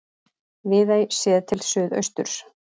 Viðey séð til suðausturs.